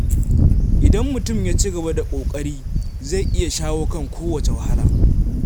Idan mutum ya ci gaba da ƙoƙari, zai iya shawo kan kowace wahala.